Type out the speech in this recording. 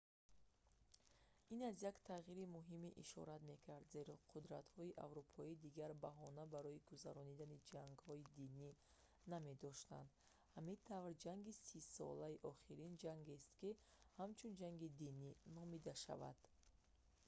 ин аз як тағйири муҳиме ишорат мекард зеро қудтратҳои аврупоӣ дигар баҳона барои гузаронидани ҷангҳои динӣ намедоштанд ҳамин тавр ҷанги сисола охирин ҷангест ки ҳамчун ҷанги динӣ номида шавад